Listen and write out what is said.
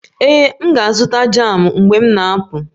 Ee, M ga-azụta jamụ mgbe m na-apụ